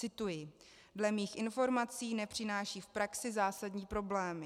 Cituji: "Dle mých informací nepřináší v praxi zásadní problémy."